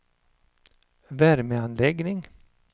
värmeanläggning